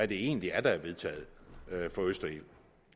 det egentlig er der er vedtaget for østerild